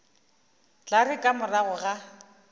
tla re ka morago ga